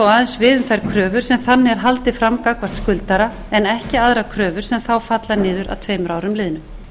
aðeins við um þær kröfur sem þannig er haldið fram gagnvart skuldara en ekki aðrar kröfur sem þá falla niður að tveimur árum liðnum